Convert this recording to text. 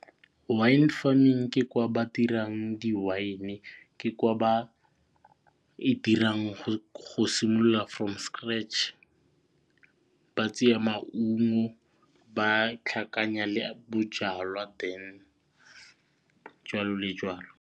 Wine farming ke kwa ba dirang di-wine ke kwa ba edirang go simolola from scratch ba tseya maungo ba tlhakanya le bojalwa then jwalo le jwalo.